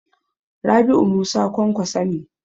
Rabi'u Musa Kwankwaso ne.